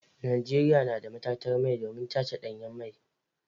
Najeriya dai na da matatar mai domin tace danyen mai.